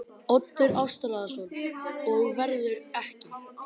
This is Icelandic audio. Oddur Ástráðsson: Og verður ekki?